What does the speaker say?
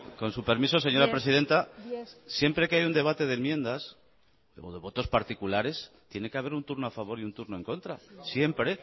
con su permiso señora presidenta siempre que hay un debate de enmiendas o de votos particulares tiene que haber un turno a favor y un turno en contra siempre